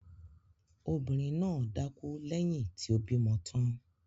Obìnrin náà dákú lẹ́yìn tí ó bímọ tán.